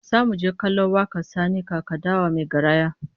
Zamu je kallon wakar Sani Kaka Dawa mai garaya